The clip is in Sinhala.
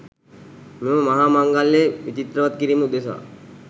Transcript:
මෙම මහා මංගල්‍යය විචිත්‍රවත් කිරීම උදෙසා